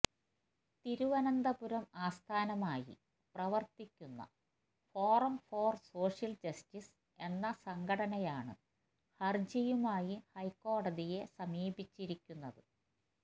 തിരുവനന്തപുരം ആസ്ഥാനമായി പ്രവര്ത്തിക്കുന്ന forum for social justice എന്ന സംഘടനയാണ് ഹര്ജിയുമായി ഹൈക്കോടതിയെ സമീപിച്ചിരിക്കുന്നത്